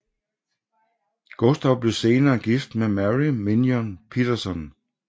Gustav blev senere gift med Merry Mignon Petersson